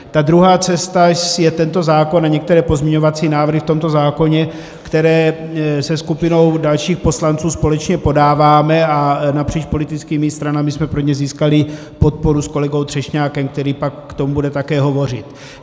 Ta druhá cesta je tento zákon a některé pozměňovací návrhy v tomto zákoně, které se skupinou dalších poslanců společně podáváme, a napříč politickými stranami jsme pro ně získali podporu s kolegou Třešňákem, který pak k tomu bude také hovořit.